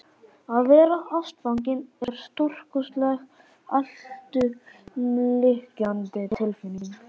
Að verða ástfanginn er stórkostleg, alltumlykjandi tilfinning.